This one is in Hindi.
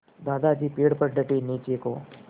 दादाजी पेड़ पर डटे नीचे को